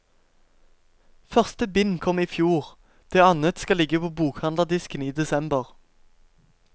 Første bind kom ifjor, det annet skal ligge på bokhandlerdisken i desember.